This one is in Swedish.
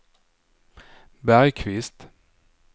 Bergqvist